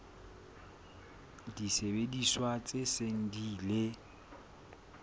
disebediswa tse seng di ile